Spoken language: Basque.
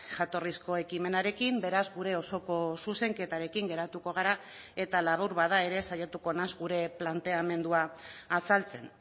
jatorrizko ekimenarekin beraz gure osoko zuzenketarekin geratuko gara eta labur bada ere saiatuko naiz gure planteamendua azaltzen